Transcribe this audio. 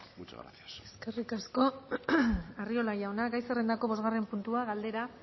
muchas gracias eskerrik asko arriola jauna gai zerrendako bosgarren puntua galdera